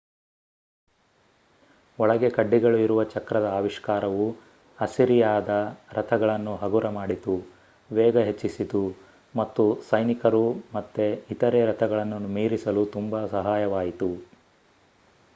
ಒಳಗೆ ಕಡ್ಡಿಗಳು ಇರುವ ಚಕ್ರದ ಆವಿಷ್ಕಾರವು ಅಸಿರಿಯಾದ ರಥಗಳನ್ನು ಹಗುರ ಮಾಡಿತು ವೇಗ ಹೆಚ್ಚಿಸಿತು ಮತ್ತು ಸೈನಿಕರು ಮತ್ತೆ ಇತರೆ ರಥಗಳನ್ನು ಮೀರಿಸಲು ತುಂಬಾ ಸಹಾಯವಾಯಿತು